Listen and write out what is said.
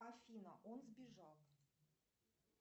афина он сбежал